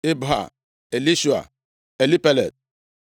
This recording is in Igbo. Ibha, Elishua, Elpelet,